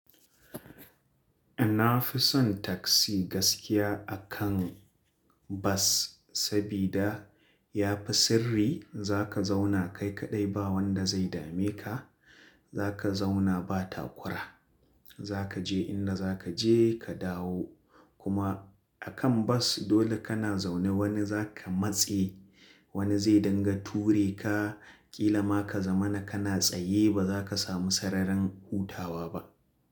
Na fi son taksi gaskiya akan bas, sabida yafi sirri. Za ka zauna kai kaɗai ba wanda zai dame ka. Za ka zauna ba takura. Za ka je inda za ka je ka dawo. Kuma a kan bas dole ka na zaune wani za ka matse, wani zai danganta ture ka. Kila ma ka zama na ka na tsaye ba za ka samu sararin hutawa ba.